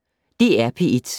DR P1